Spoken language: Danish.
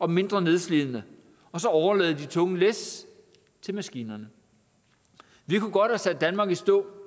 og mindre nedslidende og så overlade de tunge læs til maskinerne vi kunne godt have sat danmark i stå